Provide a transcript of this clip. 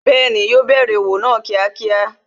Bẹẹni, yo bẹ̀rẹ̀ òwò náà kíákíá